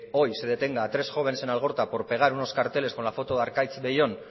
hoy se detenga a tres jóvenes en algorta por pegar unos carteles con la foto de arkaitz bellón